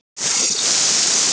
Hann er meðal þeirra allra bestu.